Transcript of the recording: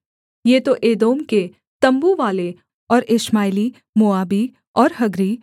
ये तो एदोम के तम्बूवाले और इश्माएली मोआबी और हग्री